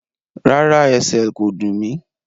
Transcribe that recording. Rárá, ẹsẹl kò dún mí.